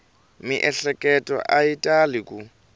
miehleketo a yi tali ku